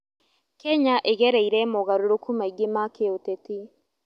Kenya ĩgereire mogarũrũku maingĩ ma kĩũteti.